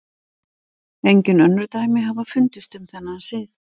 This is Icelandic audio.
Engin önnur dæmi hafa fundist um þennan sið.